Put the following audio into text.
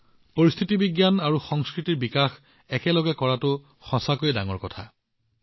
যদি পৰিস্থিতি বিজ্ঞান আৰু সংস্কৃতি দুয়োটা একেলগে বিকশিত হয় কল্পনা কৰক ই কিমান মহান হব পাৰে